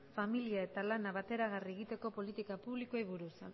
familia eta lana bateragarri egiteko politika publikoei